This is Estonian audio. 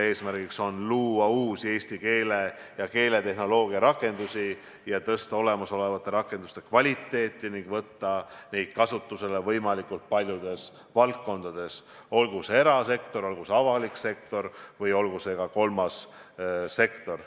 Eesmärk on luua uusi eesti keele ja keeletehnoloogia rakendusi, tõsta olemasolevate rakenduste kvaliteeti ning võtta neid lahendusi kasutusele võimalikult paljudes valdkondades – olgu see erasektor, olgu see avalik sektor või olgu see kolmas sektor.